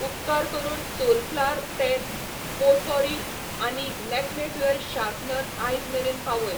उपकार करून सोलफ्लॉवर तेल पोटपौरी आनी लॅक्मे ड्युअल शार्पनर आयज मेरेन पावय.